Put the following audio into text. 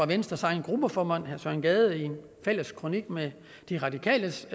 venstres egen gruppeformand herre søren gade i en fælles kronik med de radikales